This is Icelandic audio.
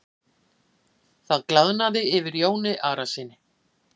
Það glaðnaði yfir Jóni Arasyni.